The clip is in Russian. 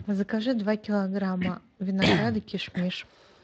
закажи два килограмма винограда кишмиш